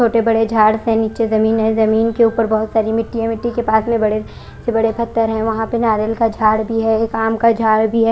छोटे बड़े झाड़ से निचे जमीन है जमीन के उपर बहोत सारी मिट्टी है मिट्टी के पास में बड़े से बड़े पत्थर है वहां पर नारियल का झाड़ भी है एक आम का झाड़ भी है।